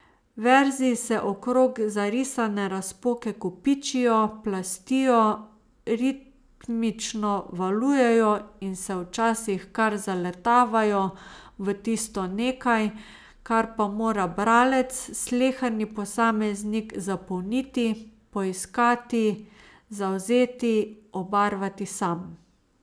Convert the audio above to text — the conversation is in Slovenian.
Verzi se okrog zarisane razpoke kopičijo, plastijo, ritmično valujejo in se včasih kar zaletavajo v tisto nekaj, kar pa mora bralec, sleherni posameznik zapolniti, poiskati, zavzeti, obarvati sam.